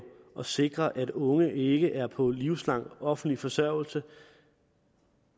at sikre at unge ikke er på livslang offentlig forsørgelse